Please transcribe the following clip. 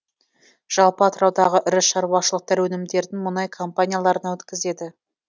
жалпы атыраудағы ірі шаруашылықтар өнімдерін мұнай компанияларына өткізеді